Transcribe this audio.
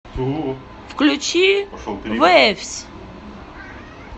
включи вэйвс